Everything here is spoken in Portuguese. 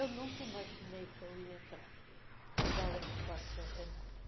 Eu nunca imaginei que ia entrar para o Ballet do Quarto Centenário.